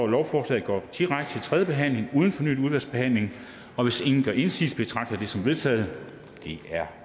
at lovforslaget går direkte til tredje behandling uden fornyet udvalgsbehandling og hvis ingen gør indsigelse betragter jeg det som vedtaget det er